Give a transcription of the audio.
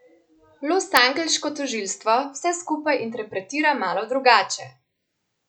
Losangeleško tožilstvo vse skupaj interpretira malo drugače.